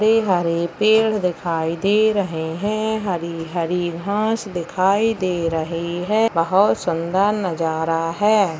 हरे हरे पेड़ दिखाई दे रहे है हरी हरी घास दिखाई दे रही है बहोत सुंदर नजारा है।